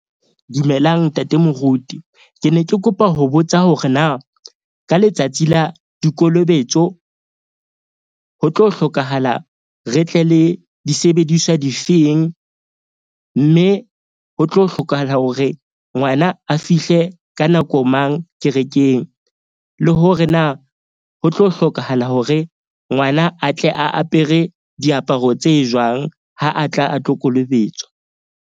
Dumelang ntate moruti. Ke ne ke kopa ho botsa hore na ka letsatsi la dikolobetso ho tlo hlokahala re tle le disebediswa difeng? Mme ho tlo hlokahala hore ngwana a fihle ka nako mang kerekeng le hore na, ho tlo hlokahala hore ngwana a tle a apere diaparo tse jwang ha a tla a tlo kolobetswa.